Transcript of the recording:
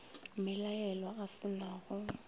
mmelaelwa a se na go